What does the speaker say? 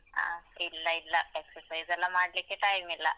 ಅಹ್ ಇಲ್ಲ ಇಲ್ಲ. exercise ಎಲ್ಲಾ ಮಾಡ್ಲಿಕ್ಕೆ time ಇಲ್ಲ.